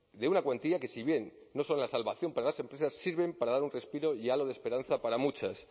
de una cuantía que si bien no son la salvación para las empresas sirven para dar un respiro y halo de esperanza para muchas